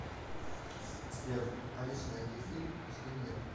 сбер алиса найди фильм с де ниро